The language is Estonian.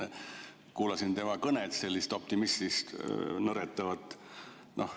Kuulasin tema kõnet, sellist optimismist nõretavat.